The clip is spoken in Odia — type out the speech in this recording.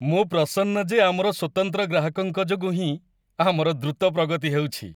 ମୁଁ ପ୍ରସନ୍ନ ଯେ ଆମର ସ୍ୱତନ୍ତ୍ର ଗ୍ରାହକଙ୍କ ଯୋଗୁଁ ହିଁ ଆମର ଦ୍ରୁତ ପ୍ରଗତି ହେଉଛି।